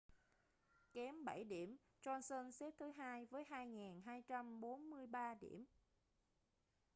kém bảy điểm johnson xếp thứ hai với 2.243 điểm